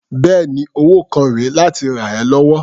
Bẹ́ẹ̀ni, owó kan rè é láti rà ẹ́ lọ́wọ́.